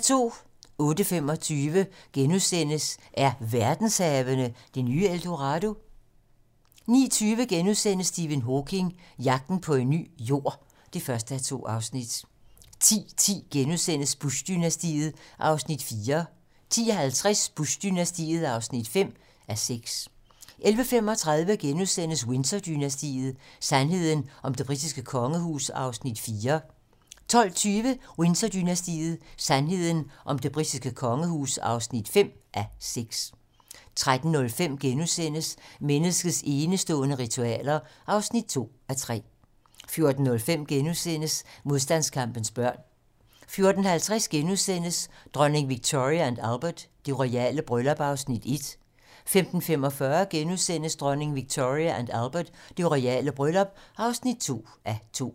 08:25: Er verdenshavene det nye El Dorado? * 09:20: Stephen Hawking: Jagten på en ny Jord (1:2)* 10:10: Bush-dynastiet (4:6)* 10:50: Bush-dynastiet (5:6) 11:35: Windsor-dynastiet: Sandheden om det britiske kongehus (4:6)* 12:20: Windsor-dynastiet: Sandheden om det britiske kongehus (5:6) 13:05: Menneskets enestående ritualer (2:3)* 14:05: Modstandskampens børn * 14:50: Dronning Victoria & Albert: Det royale bryllup (1:2)* 15:45: Dronning Victoria & Albert: Det royale bryllup (2:2)*